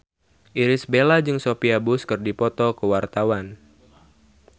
Irish Bella jeung Sophia Bush keur dipoto ku wartawan